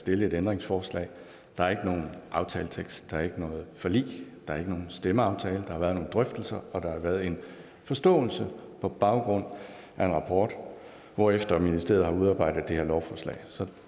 stille et ændringsforslag der er ikke nogen aftaletekst der er ikke noget forlig der er ikke nogen stemmeaftale der har været nogle drøftelser og der har været en forståelse på baggrund af en rapport hvorefter ministeriet har udarbejdet det her lovforslag så